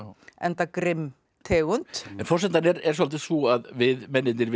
enda grimm tegund forsendan er svolítið sú að við mennirnir